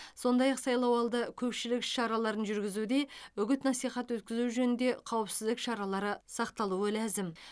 сондай ақ сайлауалды көпшілік іс шараларын жүргізуде үгіт насихат өткізу жөнінде қауіпсіздік шаралары сақталуы ләзім